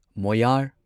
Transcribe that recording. ꯃꯣꯌꯥꯔ